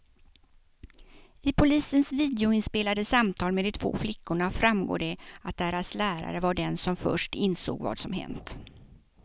I polisens videoinspelade samtal med de två flickorna framgår det att deras lärare var den som först insåg vad som hänt.